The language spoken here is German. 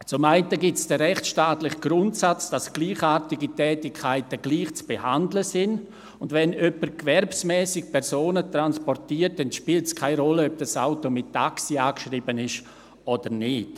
Zum einen gibt es den rechtstaatlichen Grundsatz, dass gleichartige Tätigkeiten gleich zu behandeln sind, und wenn jemand gewerbsmässig Personen transportiert, spielt es keine Rolle, ob das Auto mit Taxi angeschrieben ist oder nicht.